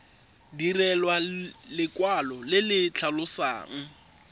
direlwa lekwalo le le tlhalosang